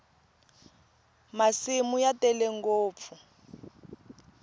masimu ya tele ngopfu